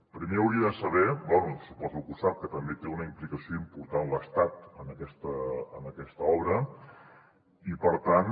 primer hauria de saber bé suposo que ho sap que també té una implicació important l’estat en aquesta obra i per tant